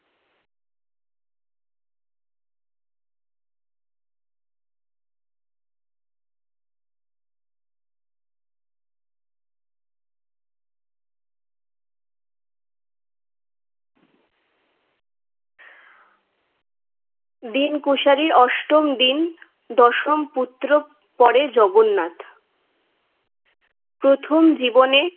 দীন কুশারির অষ্টম দিন দশম পুত্র পরে জগন্নাথ প্রথম জীবনে